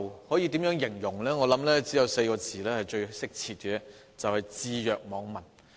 我認為只有4個字是最貼切的，就是"置若罔聞"。